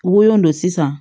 Wo don sisan